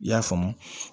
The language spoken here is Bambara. I y'a faamu